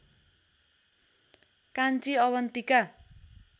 Kanchi Avantika